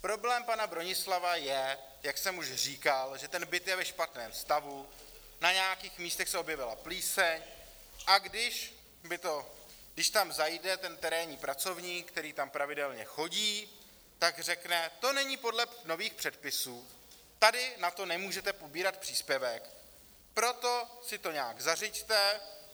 Problém pana Bronislava je, jak jsem už říkal, že ten byt je ve špatném stavu, na nějakých místech se objevila plíseň, a když tam zajde ten terénní pracovník, který tam pravidelně chodí, tak řekne: to není podle nových předpisů, tady na to nemůžete pobírat příspěvek, proto si to nějak zařiďte.